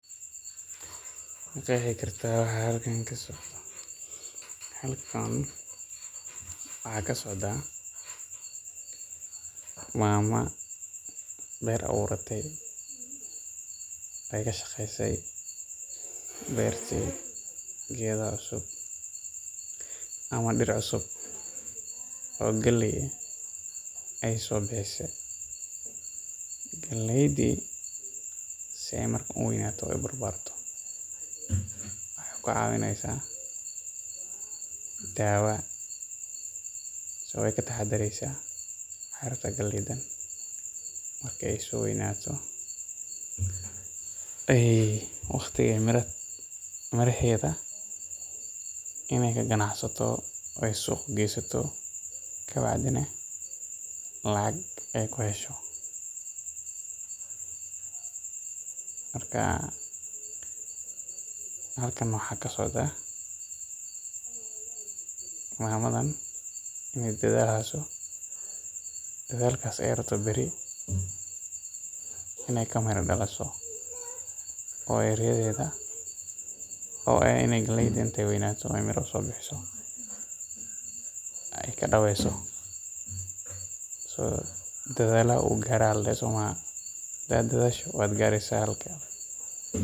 Maqeexi karta waxa halkan kasocda, mama beer abuurte, geeda cusub ama dir cusub oo galeey ah, si aay uweynato waxeey ka caawineysa daawa, waqti, aay ku ganacsato, kadib lacaga aay isticmaasho, halkan waaxa kasocda inaay dadaali hayso oo aay rabto inaay kamira dakiso, dadaala wuu gaara.